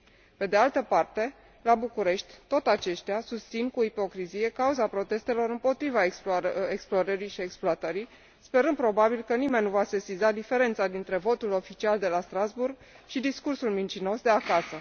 Pe de altă parte, la București, tot aceștia susțin cu ipocrizie cauza protestelor împotriva explorării și exploatării, sperând probabil că nimeni nu va sesiza diferența dintre votul oficial de la Strasbourg și discursul mincinos de acasă.